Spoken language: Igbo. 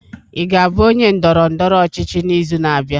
Ị ga-abụ onye ndọrọ ndọrọ ọchịchị n'izu na-abịa?